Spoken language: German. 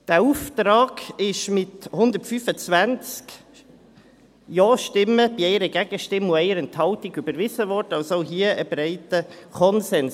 Dieser Auftrag wurde mit 125 Ja-Stimmen bei 1 Gegenstimme und 1 Enthaltung überwiesen, also auch hier ein breiter Konsens.